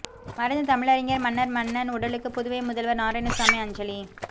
மறைந்த தமிழறிஞர் மன்னர் மன்னன் உடலுக்கு புதுவை முதல்வர் நாராயணசாமி அஞ்சலி